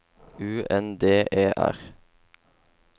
U N D E R